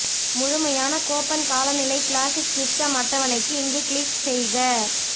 முழுமையான கோப்பன் காலநிலை classic system அட்டவணைக்கு இங்கு கிளிக் செய்க